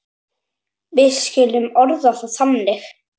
Við skulum orða það þannig.